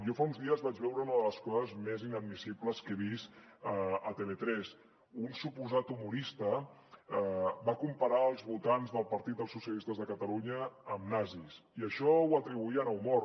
jo fa uns dies vaig veure una de les coses més inadmissibles que he vist a tv3 un suposat humorista va comparar els votants del partit dels socialistes de catalunya amb nazis i això ho atribuïen a humor